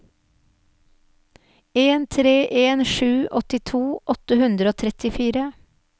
en tre en sju åttito åtte hundre og trettifire